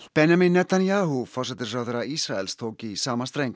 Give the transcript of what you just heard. Benjamin Netanyahu forsætisráðherra Ísraels tók í sama streng